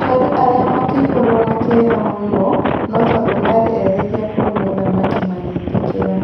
Aciari ariĩ makĩihorwũ na kieha mũno no tondũ marĩ etĩkia kurĩ mũthamaki magĩĩtĩkĩra.